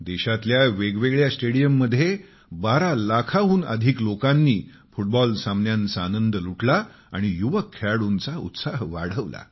देशातल्या वेगवेगळ्या स्टेडीयममध्ये 12 लाखाहून अधिक लोकांनी फुटबॉल सामन्यांचा आनंद लुटला आणि युवक खेळाडूंचा उत्साह वाढवला